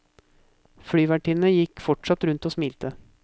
Flyvertinnene gikk fortsatt rundt og smilte.